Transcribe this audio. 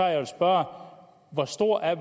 jeg vil spørge hvor stor er